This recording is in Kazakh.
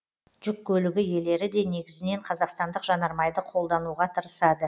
жүк көлігі иелері де негізінен қазақстандық жанармайды қолдануға тырысады